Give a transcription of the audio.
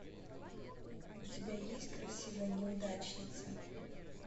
у тебя есть красивая неудачница